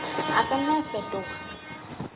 a ka nna a fetoha